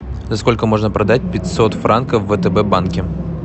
за сколько можно продать пятьсот франков в втб банке